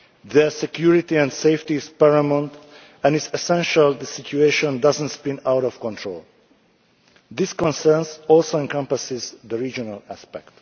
Their security and safety is paramount, and it is essential the situation does not spin out of control. These concerns also encompass the regional aspect.